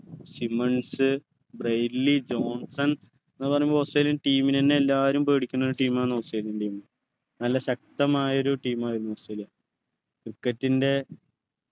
Simões Brett Lee Johnson എന്ന് പറയുമ്പോ australian team നെ എന്നെ എല്ലാവരും പേടിക്കുന്ന ഒരു team ആണ് australian team നല്ല ശക്‌തമായൊരു team ആയിരുന്നു ഓസ്ട്രേലിയ cricket ൻ്റെ